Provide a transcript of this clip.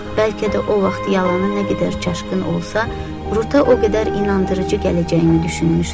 Bəlkə də o vaxt yalanı nə qədər çaşqın olsa, Ruta o qədər inandırıcı gələcəyini düşünmüşdü.